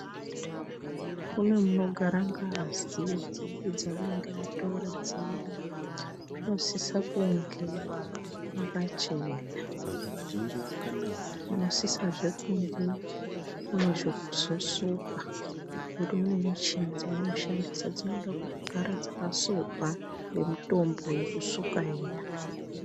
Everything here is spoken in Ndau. Kune munogara ngazi dzavanenge vatora dziya munosisa kunge makachena, munosisazve kunge mune zvekuzosuka ngokuti mune michini dzavanoshandisa dzinoda kugara dzakasukwa ngemutombo yekusuka iya.